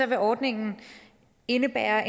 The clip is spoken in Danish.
vil ordningen indebære